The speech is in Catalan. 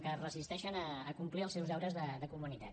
que es resisteixen a complir els seus deures de comunitat